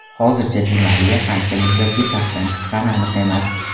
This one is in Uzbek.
Hozircha Di Mariya qancha muddatga safdan chiqqani aniq emas.